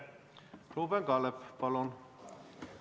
Ruuben Kaalep, palun!